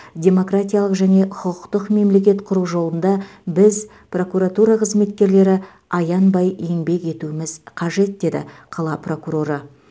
демократиялық және құқықтық мемлекет құру жолында біз прокуратура қызметкерлері аянбай еңбек етуіміз қажет деді қала прокуроры